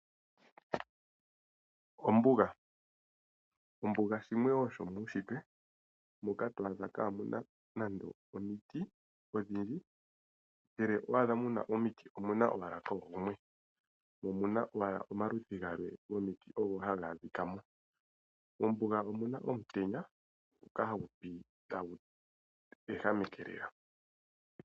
Ombuga , Ombuga shimwe wo shomiishitwe moka to adha kaamuna nande omiti odhindji, ngele owa adha mu na omiti, omu na owala gumwe, mo omu na owala omaludhi gaali gomiti ogo haga adhika mo. Mombuga omu na omutenya ngoka hagu pi tagu ehameke lela.